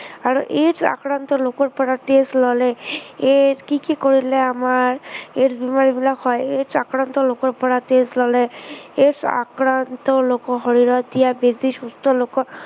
আৰু AIDS আক্ৰান্ত লোকৰ পৰা তেজ ললে, AIDS কি কি কৰিলে আমাৰ এই বেমাৰবিলাক হয়। AIDS আক্ৰান্ত লোকৰ শৰীৰত দিয়া বেজি সুস্থ লোকৰ